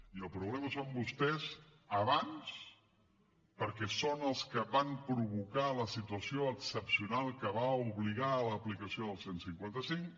i el problema són vostès abans perquè són els que van provocar la situació excepcional que va obligar a l’aplicació del cent i cinquanta cinc